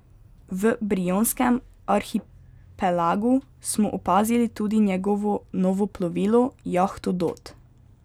V brionskem arhipelagu smo opazili tudi njegovo novo plovilo, jahto Dot.